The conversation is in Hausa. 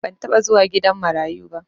ban taba zuwa gidan marayuba